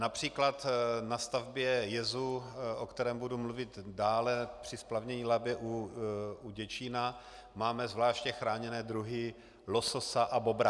Například na stavbě jezu, o kterém budu mluvit dále, při splavnění Labe u Děčína, máme zvláště chráněné druhy lososa a bobra.